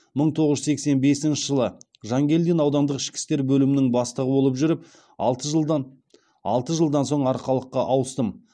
мың тоғыз жүз сексен бесінші жылы жангелдин аудандық ішкі істер бөлімінің бастығы болып жүріп алты жылдан алты жылдан соң арқалыққа ауыстым